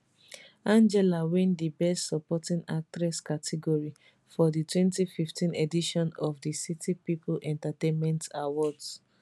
angela win di best supporting actress category for di 2015 edition of di city people entertainment awards